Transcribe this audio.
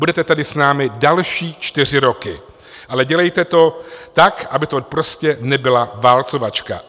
Budete tady s námi další čtyři roky, ale dělejte to tak, aby to prostě nebyla válcovačka.